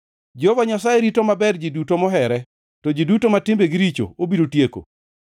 Jehova Nyasaye rito maber ji duto mohere, to ji duto ma timbegi richo obiro tieko.